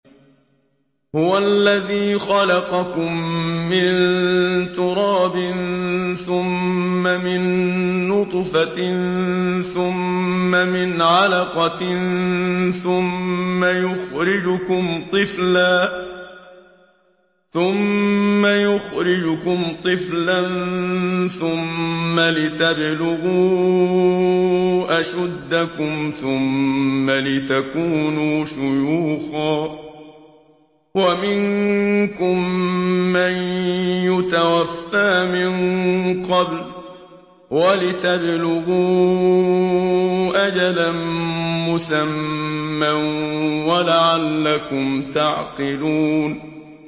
هُوَ الَّذِي خَلَقَكُم مِّن تُرَابٍ ثُمَّ مِن نُّطْفَةٍ ثُمَّ مِنْ عَلَقَةٍ ثُمَّ يُخْرِجُكُمْ طِفْلًا ثُمَّ لِتَبْلُغُوا أَشُدَّكُمْ ثُمَّ لِتَكُونُوا شُيُوخًا ۚ وَمِنكُم مَّن يُتَوَفَّىٰ مِن قَبْلُ ۖ وَلِتَبْلُغُوا أَجَلًا مُّسَمًّى وَلَعَلَّكُمْ تَعْقِلُونَ